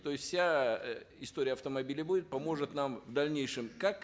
то есть вся э история автомобиля будет поможет нам в дальнейшем как